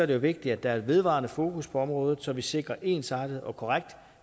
det jo vigtigt at der er et vedvarende fokus på området så vi sikrer en ensartet og korrekt